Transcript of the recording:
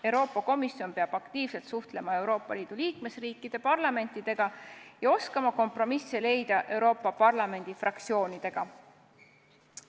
Euroopa Komisjon peab aktiivselt suhtlema Euroopa Liidu liikmesriikide parlamentidega ja oskama leida kompromisse Euroopa Parlamendi fraktsioonidega.